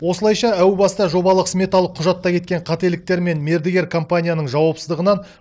осылайша әу баста жобалық сметалық құжатта кеткен қателіктер мен мердігер компанияның жауапсыздығынан